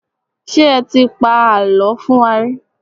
Ṣé ẹ ti pa àlọ́ fún wa rí?